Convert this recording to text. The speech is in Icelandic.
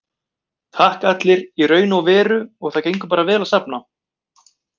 Takk allir, í raun og veru og það gengur bara vel að safna.